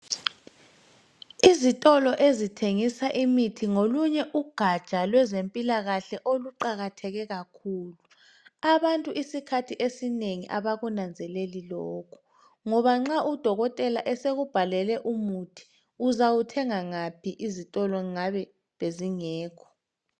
izitolo ezithengisa imithi ngolunye ugatsha kwezempilakahle oluqakatheke kakhulu abangtu isikhathi esinengi abakunanzeleli lokhu ngoba nxa u dokotela esekubhalele umuthi uzawuthenga ngaphi izitolo ngabe bezingekho